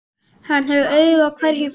Hann hafði auga á hverjum fingri.